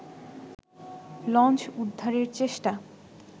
launch উদ্ধারের চেষ্টা